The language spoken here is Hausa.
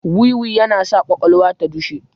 Wiwi yana sa kwakwalwa ta dushe